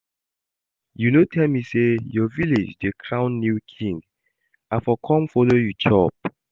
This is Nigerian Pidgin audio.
You no tell me say your village dey crown new king, I for come follow you chop